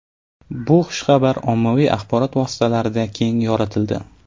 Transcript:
Bu xushxabar ommaviy axborot vositalarida keng yoritildi.